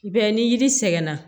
I b'a ye ni yiri sɛgɛn na